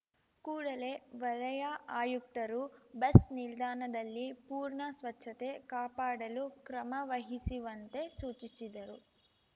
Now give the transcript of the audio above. ಕೂಡಲೇ ವಲಯ ಆಯುಕ್ತರು ಬಸ್‌ ನಿಲ್ದಾಣದಲ್ಲಿ ಪೂರ್ಣ ಸ್ವಚ್ಛತೆ ಕಾಪಾಡಲು ಕ್ರಮ ವಹಿಸಿವಂತೆ ಸೂಚಿಸಿದರು